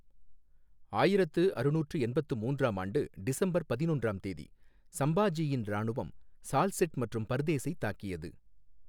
ஆயிரத்து அறுநூற்று எண்பத்து மூன்றாம் ஆண்டு டிசம்பர் பதினொன்றாம் தேதி, ஸம்பாஜீயின் இராணுவம் ஸால்ஸெட் மற்றும் பர்தேஸைத் தாக்கியது.